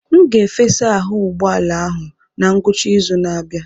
M ga-efesa ahụ ụgbọ ala ahụ na ngwụcha izu na-abịa.